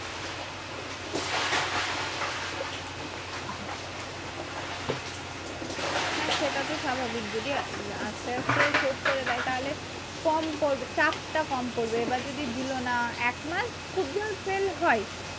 হ্যাঁ সেটা তো স্বাভাবিক যদি আস্তে আস্তে শোধ করে দেয় তাহলে কম পরবে চাপ টা কম পরবে। এবার যদি দিলো না। এক মাস খুব জোর fail হয়।